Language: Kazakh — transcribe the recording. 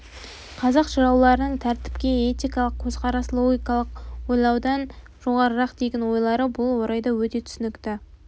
қазақ жырауларының тәртіпке этикалық көзқарас логикалық ойлаудан жоғарырақ деген ойлары бұл орайда өте түсінікті